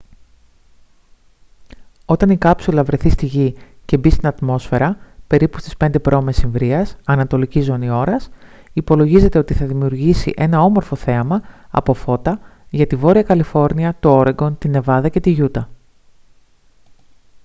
όταν η κάψουλα βρεθεί στη γη και μπει στην ατμόσφαιρα περίπου στις 5 π.μ. ανατολική ζώνη ώρας υπολογίζεται ότι θα δημιουργήσει ένα όμορφο θέαμα από φώτα για τη βόρεια καλιφόρνια το όρεγκον τη νεβάδα και τη γιούτα